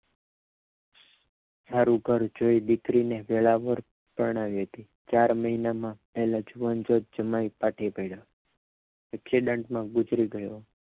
સારુ ઘર જોઈ દીકરીને વેરાવળ પરણાવી હતી ચાર મહિનામાં જુવાન જોધ જમાઈ ફાટી પડીયો એક્સિડન્ટમાં ગુજરી ગયો